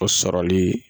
O sɔrɔli